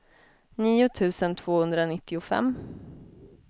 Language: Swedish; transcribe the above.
nio tusen tvåhundranittiofem